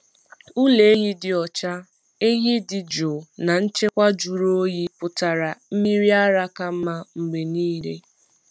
Ụlọ ehi dị ọcha, ehi dị jụụ, na nchekwa jụrụ oyi pụtara mmiri ara ka mma mgbe niile.